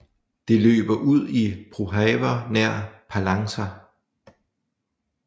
Det løber ud i Prahova nær Palanca